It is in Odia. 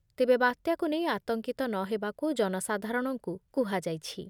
ତେବେ ବାତ୍ୟାକୁ ନେଇ ଆତଙ୍କିତ ନ ହେବାକୁ ଜନସାଧାରଣଙ୍କୁ କୁହାଯାଇଛି ।